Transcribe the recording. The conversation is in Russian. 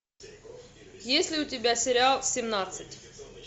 есть ли у тебя сериал семнадцать